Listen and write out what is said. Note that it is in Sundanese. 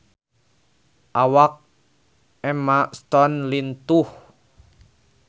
Awak Emma Stone lintuh